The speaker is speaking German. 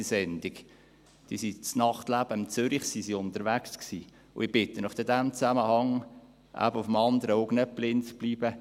Sie waren im Nachtleben von Zürich unterwegs, und ich bitte Sie, in diesem Zusammenhang auf dem anderen Auge nicht blind zu bleiben.